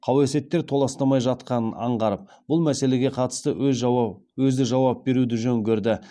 кауесеттер толастамай жатқанын аңғарып бұл мәселеге қатысты өзі жауап беруді жөн көрді